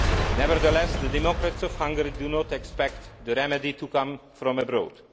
Nevertheless, the democrats of Hungary do not expect the remedy to come from abroad.